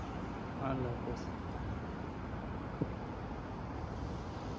আল্লাহ হাফিস।